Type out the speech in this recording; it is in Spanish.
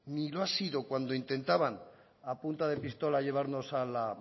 ni lo ha sido cuando lo intentaban a punta de pistola llevarnos a la